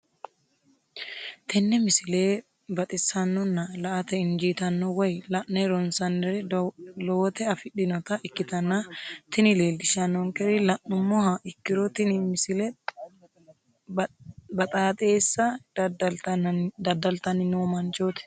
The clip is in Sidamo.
tenne misile baxisannonna la"ate injiitanno woy la'ne ronsannire lowote afidhinota ikkitanna tini leellishshannonkeri la'nummoha ikkiro tini misile baxaaxeessa daddaltanni noo manchooti.